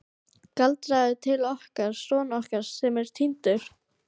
Galdraðu til okkar son okkar sem er týndur.